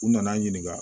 U nana n ɲininka